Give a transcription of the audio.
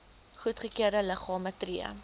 goedgekeurde liggame tree